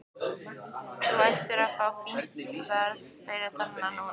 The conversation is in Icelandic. Þú ættir að fá fínt verð fyrir það núna.